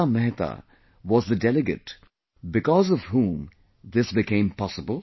Hansa Mehta was the delegate because of whom this became possible